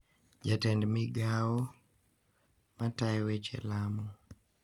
Jatend migao, ma tayo weche lamo